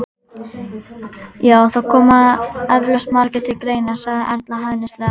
Já, það koma eflaust margir til greina sagði Erla hæðnislega.